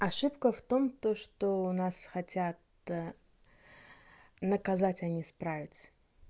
ошибка в том то что у нас хотят наказать а не исправить